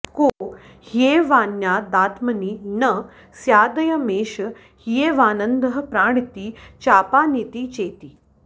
को ह्येवान्यादात्मनि न स्यादयमेष ह्येवानन्दः प्राणिति चापानिति चेति